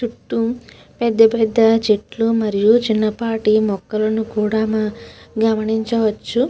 చుట్టూ పేద పేద చేతుల్లు చూతు చిన్న చిన్న మోకాళ్ళు కూడా వున్నాయ్.